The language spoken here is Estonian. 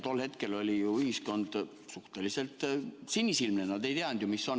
Tol hetkel oli ju ühiskond suhteliselt sinisilmne, nad ei teadnud, mis on.